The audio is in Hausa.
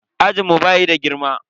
Ajinmu bayi da girma.